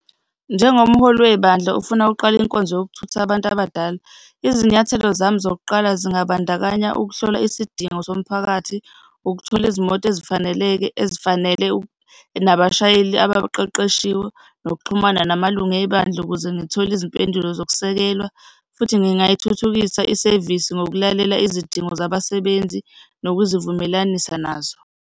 Njengomholi webandla ofuna ukuqala inkonzo yokuthutha abantu abadala. Izinyathelo zami zokuqala zingabandakanya ukuhlola isidingo somphakathi, ukuthola izimoto ezifaneleke, ezifanele nabashayeli abaqeqeshiwe, nokuxhumana namalungu ebandla ukuze ngithole izimpendulo zokusekelwa futhi ngingayithuthukisa isevisi ngokulalela izidingo zabasebenzi nokuzivumelanisa nazo.